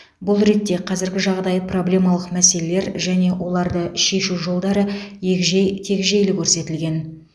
бұл ретте қазіргі жағдай проблемалық мәселелер және оларды шешу жолдары егжей тегжейлі көрсетілген